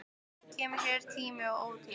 Kemur hér í tíma og ótíma.